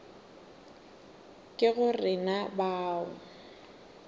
ke go re na bao